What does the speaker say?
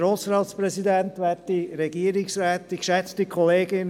Für die SP-JUSO-PSA-Fraktion: Grossrat Graf.